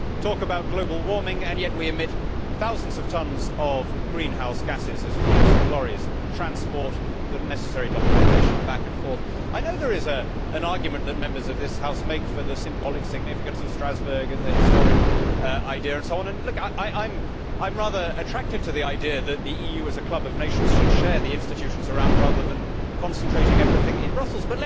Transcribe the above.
We talk about global warming and yet we emit thousands of tonnes of greenhouse gases as fleets of lorries transport the necessary documentation back and forth. I know there is an argument that Members of this House make for the symbolic significance of Strasbourg and the historic idea, and so on, and I am rather attracted to the idea that the EU, as a club of nations, should share the institutions around rather than concentrating everything in Brussels.